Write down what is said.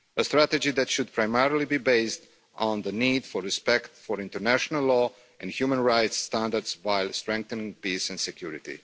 A strategy that should primarily be based on the need for respect for international law and human rights standards, while strengthening peace and security.